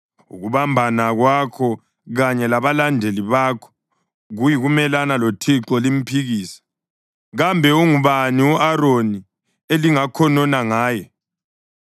Ukubambana kwakho kanye labalandeli bakho kuyikumelana loThixo limphikisa. Kambe ungubani u-Aroni elingakhonona ngaye?”